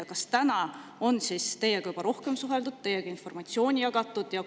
Ja kas tänaseks on teiega juba rohkem suheldud, teiega informatsiooni jagatud?